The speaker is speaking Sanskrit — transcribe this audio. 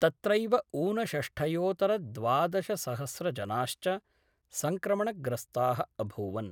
तत्रैव ऊनषष्ठयोतर द्वादशसहस्रजनाश्च संक्रमणग्रस्ता: अभूवन्।